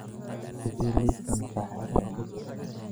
i sii liiska makhaayadaha ugu sarreeya a